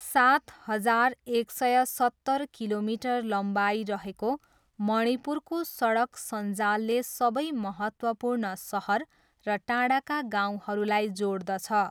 सात हजार एक सय सत्तर किलोमिटर लम्बाइ रहेको मणिपुरको सडक सञ्जालले सबै महत्त्वपूर्ण सहर र टाढाका गाउँहरूलाई जोड्दछ।